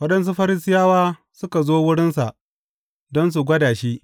Waɗansu Farisiyawa suka zo wurinsa don su gwada shi.